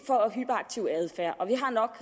har nok